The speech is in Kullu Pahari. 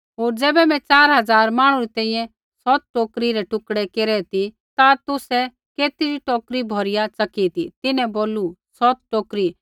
होर ज़ैबै मैं च़ार हज़ार मांहणु री तैंईंयैं सौत रोटी रै टुकड़ै केरै ती ता तुसै केतरी टोकरी भौरिया च़की ती तिन्हैं बोलू सौत टोकरी